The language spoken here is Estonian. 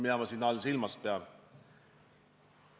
Mida ma selle all silmas pean?